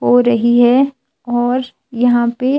हो रही है और यहां पे--